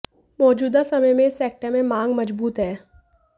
मौजूदा समय में इस सेक्टर में मांग मजबूत है